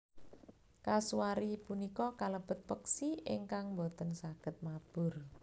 Kasuari punika kalebet peksi ingkang boten saged mabur